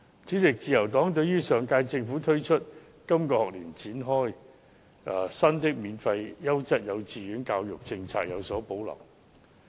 主席，自由黨對於上屆政府推出及在本學年展開的新"免費優質幼稚園教育政策"有所保留。